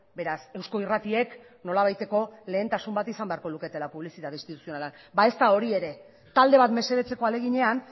beraz eusko irratiek nolabaiteko lehentasun bat izan beharko luketela publizitate instituzionala ba ez da hori ere talde bat mesedetzeko ahaleginean